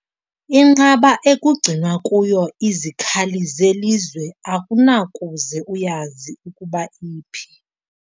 Inqaba ekugcinwe kuyo izikhali zelizwe akunakuze uyazi ukuba iphi.